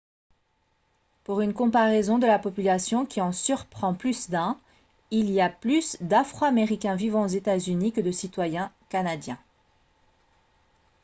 pour une comparaison de la population qui en surprend plus d'un il y a plus d'afro-américains vivant aux états-unis que de citoyens canadiens